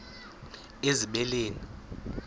ezibeleni